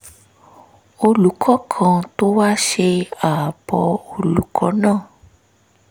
olùkọ́ kan tó wá ṣe àbọ̀ olùkọ́ náà